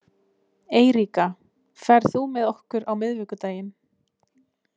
Eiríka, ferð þú með okkur á miðvikudaginn?